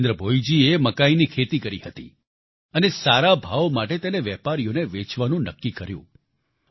જિતેન્દ્ર ભોઈજીએ મકાઈની ખેતી કરી હતી અને સારા ભાવ માટે તેને વેપારીઓને વેચવાનું નક્કી કર્યું